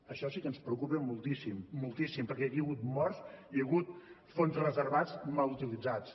això sí que ens preocupa moltíssim moltíssim perquè aquí hi ha hagut morts i hi ha hagut fons reservats mal utilitzats